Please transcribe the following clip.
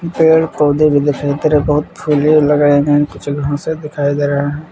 पेड़-पौधे भी दिखाई दे रहे हैं बहुत फूलें लगाए हैं कुछ घासें दिखाई दे रहे हैं।